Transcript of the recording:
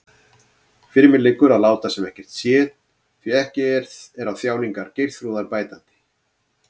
Fyrir mér liggur að láta sem ekkert sé, því ekki er á þjáningar Geirþrúðar bætandi.